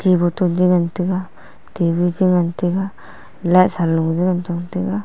te bottle je ngan taiga table je ngan taiga light saloe je ngantong taiga.